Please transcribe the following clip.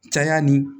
Caya ni